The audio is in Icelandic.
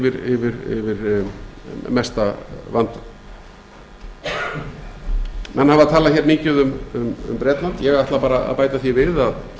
sér yfir mesta vandann menn hafa talað hér mikið um bretland ég ætla bara að bæta því við